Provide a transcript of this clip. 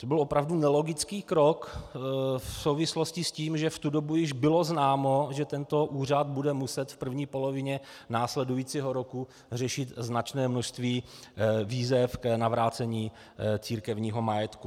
To byl opravdu nelogický krok v souvislosti s tím, že v tu dobu již bylo známo, že tento úřad bude muset v první polovině následujícího roku řešit značné množství výzev k navrácení církevního majetku.